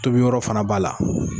Tobi yɔrɔ fana b'ala.